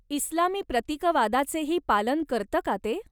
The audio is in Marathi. इस्लामी प्रतीकवादाचेही पालन करतं का ते?